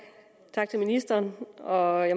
tak til ministeren og